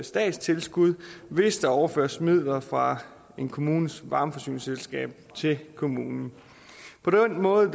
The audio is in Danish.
statstilskud hvis der overføres midler fra en kommunes varmeforsyningsselskab til kommunen på den måde